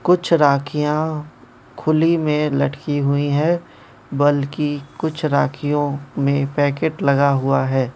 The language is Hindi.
कुछ राखियां खुली में लटकी हुई हैं बल्कि कुछ राखियों में पैकेट लगा हुआ है।